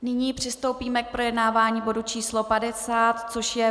Nyní přistoupíme k projednávání bodu č. 50, což je